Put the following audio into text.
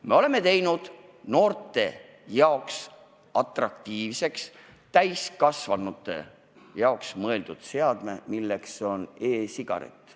Me oleme teinud noorte jaoks atraktiivseks täiskasvanutele mõeldud seadme, milleks on e-sigaret.